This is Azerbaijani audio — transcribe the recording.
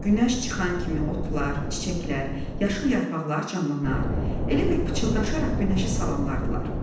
Günəş çıxan kimi otlar, çiçəklər, yaşıl yarpaqlar canlanar, elə bil pıçıldaşaraq günəşi salamlayırdılar.